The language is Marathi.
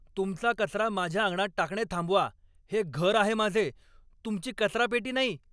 तुमचा कचरा माझ्या अंगणात टाकणे थांबवा. हे घर आहे माझे, तुमची कचरापेटी नाई!